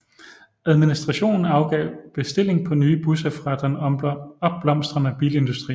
Administrationen afgav bestilling på nye busser fra den opblomstrende bilindustri